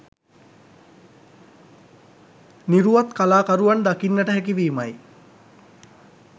නිරුවත් කලාකරුවන් දකින්නට හැකිවීමයි.